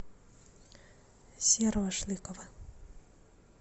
серого шлыкова